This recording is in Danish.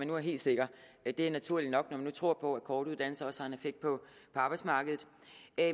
nu er helt sikre det det er naturligt nok når man nu tror på at korte uddannelser også har en effekt på arbejdsmarkedet